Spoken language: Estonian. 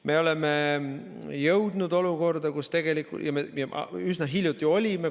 Me oleme jõudnud olukorda, kus me üsna hiljuti olime.